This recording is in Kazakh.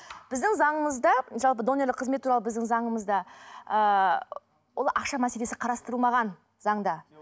біздің заңымызда жалпы донорлық қызмет туралы біздің заңымызда ыыы ол ақша мәселесі қарастырылмаған заңда